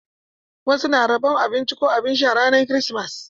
Wasu na rabon abinci ko abin sha ranar kirismas.